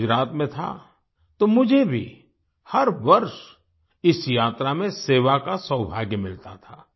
मैं गुजरात में था तो मुझे भी हर वर्ष इस यात्रा में सेवा का सौभाग्य मिलता था